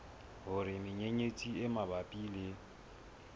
hore menyenyetsi e mabapi le